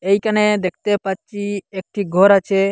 ইখানে দেখতে পারছি একটি ঘর আছে।